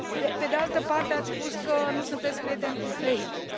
Pe de altă parte, ați spus că nu sunteți prieten cu Facebook.